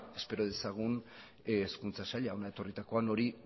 espero dezagun hezkuntza saila hona etorritakoan hori